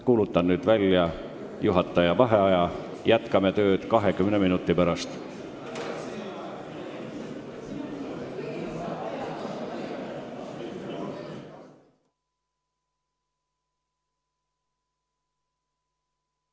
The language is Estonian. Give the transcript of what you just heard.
Kuulutan nüüd välja juhataja vaheaja, jätkame tööd 20 minuti pärast.